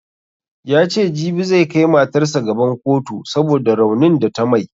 Yace jibi zai kai matarsa gaban kotu saboda raunin da ta mai